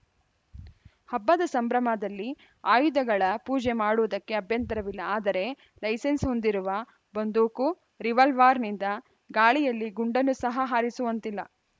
ಹಬ್ಬದ ಸಂಭ್ರಮದಲ್ಲಿ ಆಯುಧಗಳ ಪೂಜೆ ಮಾಡುವುದಕ್ಕೆ ಅಭ್ಯಂತರವಿಲ್ಲ ಆದರೆ ಲೈಸೆನ್ಸ್‌ ಹೊಂದಿರುವ ಬಂದೂಕು ರಿವಾಲ್ವರ್‌ನಿಂದ ಗಾಳಿಯಲ್ಲಿ ಗುಂಡನ್ನು ಸಹ ಹಾರಿಸುವಂತಿಲ್ಲ